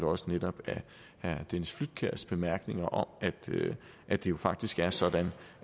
også netop herre dennis flydtkjærs bemærkninger om at det jo faktisk er sådan